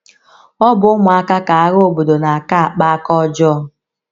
Ọ bụ ụmụaka ka agha obodo na - aka akpa aka ọjọọ.